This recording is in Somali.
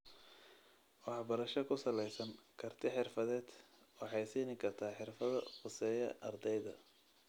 Waxbarasho ku salaysan karti-xirfadeed waxay siin kartaa xirfado khuseeya ardayda.